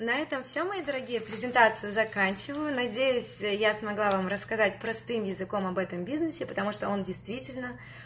на этом все мои дорогие презентацию заканчиваю надеюсь я смогла вам рассказать простым языком об этом бизнесе потому что он действительно